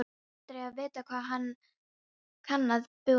Aldrei að vita, hvað kann að búa undir.